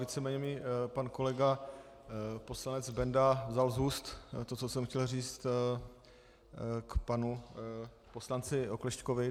Víceméně mi pan kolega poslanec Benda vzal z úst to, co jsem chtěl říct k panu poslanci Oklešťkovi.